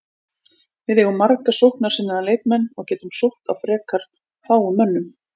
Við eigum marga sóknarsinnaða leikmenn og getum sótt á frekar fáum mönnum.